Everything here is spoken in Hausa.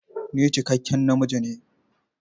Ni cikakken namiji ne.